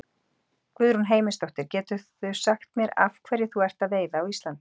Guðrún Heimisdóttir: Geturðu sagt mér af hverju þú ert að veiða á Íslandi?